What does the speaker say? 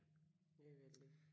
Det er vældigt